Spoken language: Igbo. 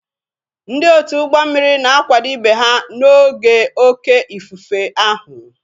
Ndị otu ụgbọ mmiri na-akwado ibe ha n'oge oké ifufe ahụ.